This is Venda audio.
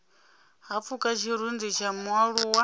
ha pfuka tshirunzi tsha mualuwa